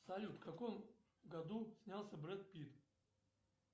салют в каком году снялся бред питт